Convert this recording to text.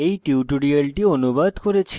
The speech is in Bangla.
এই টিউটোরিয়ালটি অনুবাদ করেছি